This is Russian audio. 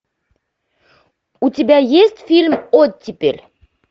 у тебя есть фильм оттепель